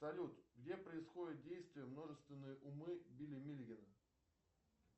салют где происходит действие множественные умы билли миллигана